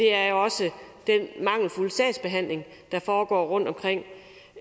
er jo også den mangelfulde sagsbehandling der foregår rundt omkring og